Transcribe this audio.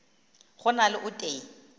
go na le o tee